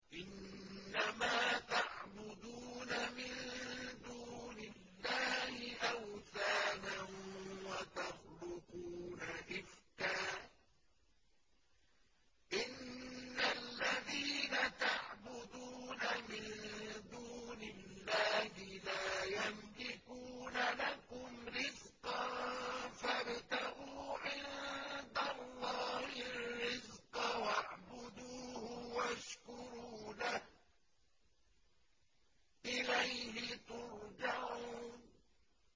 إِنَّمَا تَعْبُدُونَ مِن دُونِ اللَّهِ أَوْثَانًا وَتَخْلُقُونَ إِفْكًا ۚ إِنَّ الَّذِينَ تَعْبُدُونَ مِن دُونِ اللَّهِ لَا يَمْلِكُونَ لَكُمْ رِزْقًا فَابْتَغُوا عِندَ اللَّهِ الرِّزْقَ وَاعْبُدُوهُ وَاشْكُرُوا لَهُ ۖ إِلَيْهِ تُرْجَعُونَ